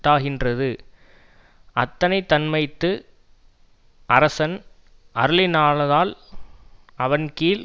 தாகின்றது அத்தனை தன்மைத்து அரசன் அருளிலனாதால் அவன் கீழ்